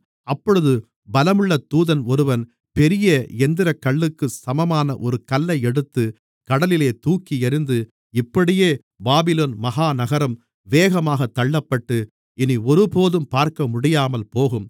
அப்பொழுது பலமுள்ள தூதன் ஒருவன் பெரிய எந்திரக்கல்லுக்கு சமமான ஒரு கல்லை எடுத்துக் கடலிலே தூக்கியெறிந்து இப்படியே பாபிலோன் மகா நகரம் வேகமாகத் தள்ளப்பட்டு இனி ஒருபோதும் பார்க்கமுடியாமல்போகும்